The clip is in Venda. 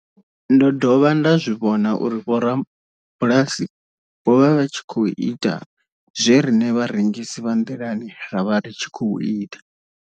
Ndo dovha nda zwi vhona uri vhorabulasi vho vha vha tshi khou ita zwe riṋe vharengisi vha nḓilani ra vha ri tshi khou ita.